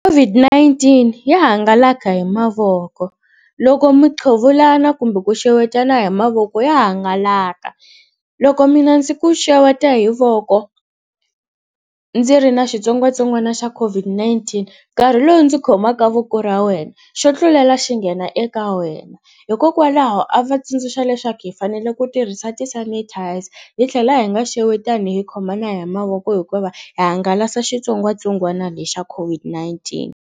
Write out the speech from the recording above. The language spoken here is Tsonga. COVID-19 ya hangalaka hi mavoko loko miqhevulana kumbe ku xewetana hi mavoko ya hangalaka loko mina ndzi ku xeweta hi voko ndzi ri na xitsongwatsongwana xa COVID-19 nkarhi lowu ndzi khomaka voko ra wena xo tlulela xi nghena eka wena hikokwalaho a va tsundzuxa leswaku hi fanele ku tirhisa ti-sanitizer hi tlhela hi nga xewetani hi khomana hi mavoko hikuva va hangalasa xitsongwatsongwana lexa COVID-19.